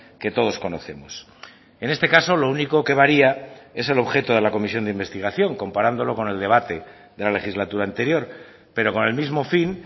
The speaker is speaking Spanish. que todos conocemos en este caso lo único que varía es el objeto de la comisión de investigación comparándolo con el debate de la legislatura anterior pero con el mismo fin